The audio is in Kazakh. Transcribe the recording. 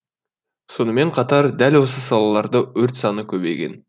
сонымен қатар дәл осы салаларда өрт саны көбейген